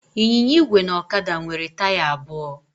Ịnyịnya igwe na ọkada nwere taya abụọ.